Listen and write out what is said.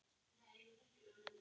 Tvær vikur?